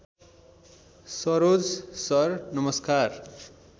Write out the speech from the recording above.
Saroj sir नमस्कार